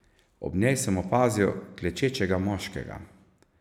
Ob njej sem opazil klečečega moškega.